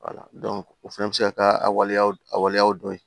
o fana bɛ se ka kɛ a waleyaw a waleyaw dɔ ye